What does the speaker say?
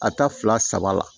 A ta fila saba la